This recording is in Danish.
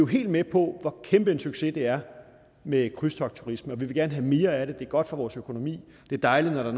helt med på hvor kæmpe en succes det er med krydstogtturisme og vi vil gerne have mere af det det er godt for vores økonomi det er dejligt når der